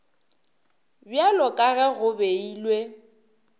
bjalo ka ge go beilwe